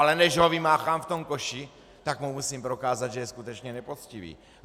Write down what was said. Ale než ho vymáchám v tom koši, tak mu musím prokázat, že je skutečně nepoctivý.